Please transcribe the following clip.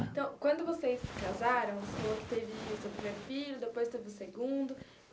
Então, quando vocês se casaram, o senhor teve o seu primeiro filho, depois teve o segundo.